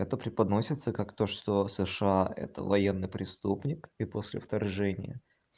это преподносится как то что сша это военный преступник и после вторжения